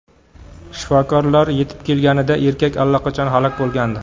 Shifokorlar yetib kelganida erkak allaqachon halok bo‘lgandi.